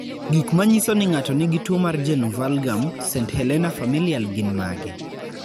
Gik manyiso ni ng'ato nigi tuwo mar Genu valgum, st Helena familial gin mage?